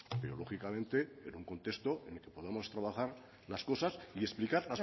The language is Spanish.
pero lógicamente en un contexto y podemos trabajar las cosas y explicar